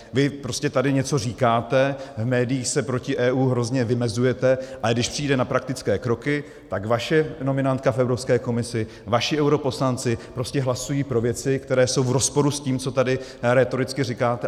Vy prostě tady něco říkáte, v médiích se proti EU hrozně vymezujete, ale když přijde na praktické kroky, tak vaše nominantka v Evropské komisi, vaši europoslanci prostě hlasují pro věci, které jsou v rozporu s tím, co tady rétoricky říkáte.